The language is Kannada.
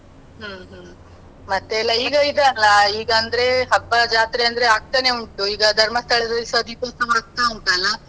ಹ್ಮ್ ಹ್ಮ್. ಮತ್ತೆಯೆಲ್ಲ ಈಗ ಇದಲ್ಲ, ಈಗ ಅಂದ್ರೆ ಹಬ್ಬ ಜಾತ್ರೆ ಅಂದ್ರೆ ಆಗ್ತಾ ಉಂಟು, ಈಗ ಧರ್ಮಸ್ಥಳದಲ್ಲಿಸ ದೀಪೋತ್ಸವ ಆಗ್ತಾ ಉಂಟ್ ಅಲಾ.